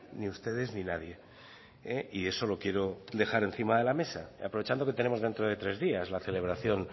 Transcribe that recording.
ni ustedes ni nadie y eso lo quiero dejar encima de la mesa aprovechando que tenemos dentro de tres días la celebración